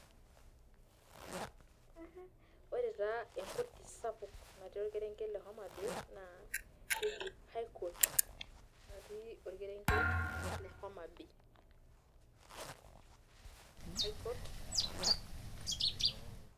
Ore taa enkoti sapuk naati orkerenket le Homabay na keji highcourt naati orkerenket le Homabay. Highcourt.